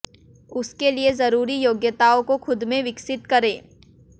उसके लिए जरूरी योग्यताओं को खुद में विकसित करें